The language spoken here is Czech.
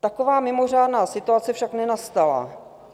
Taková mimořádná situace však nenastala.